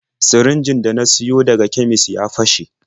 Sirinjin da na siyo daga kemis ya fashe.